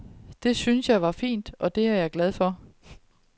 Det syntes jeg var fint, og det var jeg glad for.